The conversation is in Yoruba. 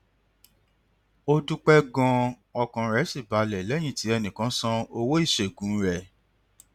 ó dúpẹ ganan ọkàn rẹ sì balẹ lẹyìn tí ẹnì kan san owó ìṣègùn rẹ